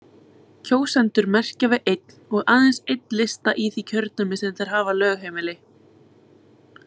Kjósendur merkja við einn og aðeins einn lista í því kjördæmi sem þeir hafa lögheimili.